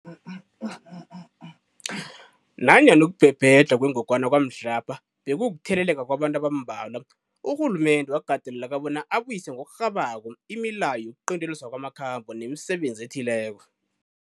Nanyana ukubhebhedlha kwengogwana kwamhlapha bekukutheleleka kwabantu abambalwa, urhulumende wakateleleka bona abuyise ngokurhabako imileyo yokuqinteliswa kwamakhambo nemisebenzi ethileko.